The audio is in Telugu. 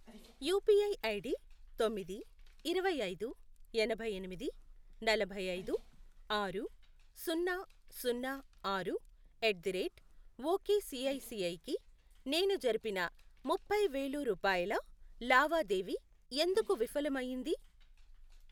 యుపిఐ ఐడి తొమ్మిది, ఇరవై ఐదు, ఎనభై ఎనిమిది, నలభై ఐదు, ఆరు, సున్నా, సున్నా, ఆరు, ఎట్ ది రేట్ ఒకేసిఐసిఐ కి నేను జరిపిన ముప్పై వేలు రూపాయల లావాదేవీ ఎందుకు విఫలం అయ్యింది?